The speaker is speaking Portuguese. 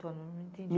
Não entendi.